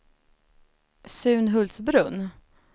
Sunhultsbrunn